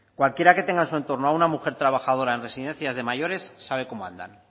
cualquiera que tenga en su entorno a una mujer trabajadora en residencias de mayores sabe cómo andan